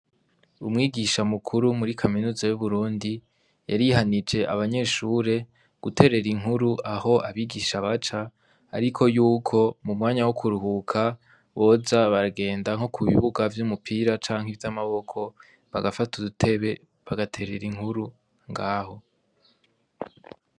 Umwigisha mukuru muri kaminuza y'Uburundi yarihanije abanyeshure guterera inkuru aho abigisha baca ,ariko yuko m'umwanya wokuruhuka boza baragenda nko kubibuga vy'umupira canke vy'amaboko bagafata udutebe bagaterera inkuru ngaho.